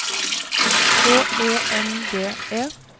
H E N G E